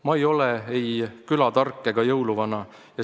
Ma ei ole ei külatark ega jõuluvana.